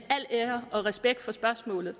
ære og respekt for spørgsmålet